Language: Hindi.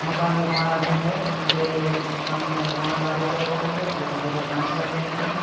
मकान निर्माणाधीन है और यहाँ पे इस मकान का निर्माण कार्य चल रहा है कुछ लेबर काम कर रहें हैं।